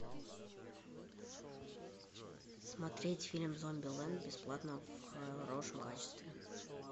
смотреть фильм зомбилэнд бесплатно в хорошем качестве